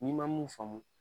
N’i ma mun faamu